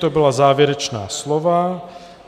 To byla závěrečná slova.